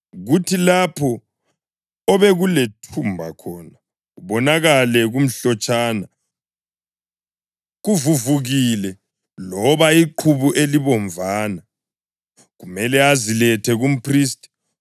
kuthi lapho obekulethumba khona kubonakale kumhlotshana kuvuvukile loba iqhubu elibomvana, kumele azilethe kumphristi.